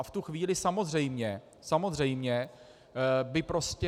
A v tu chvíli samozřejmě, samozřejmě by prostě...